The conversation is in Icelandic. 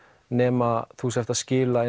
nema þú sért að skila